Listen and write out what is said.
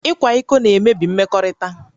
Ịkwa iko na-emebi mmekọrịta